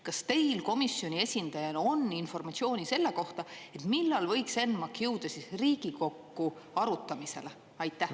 Kas teil komisjoni esindajana on informatsiooni selle kohta, millal võiks ENMAK jõuda Riigikokku arutamisele?